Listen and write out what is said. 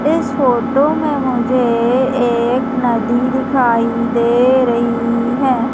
इस फोटो में मुझे एक नदी दिखाई दे रही है।